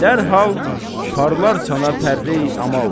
Dərhal parlar sənə pərreyi əməl.